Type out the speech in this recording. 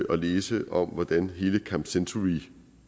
at læse om hvordan hele camp century